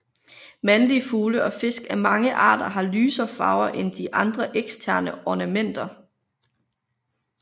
Mandlige fugle og fisk af mange arter har lysere farve eller andre eksterne ornamenter